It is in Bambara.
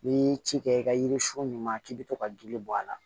N'i ye ci kɛ i ka yiri sun ɲuman k'i bɛ to ka joli bɔ a la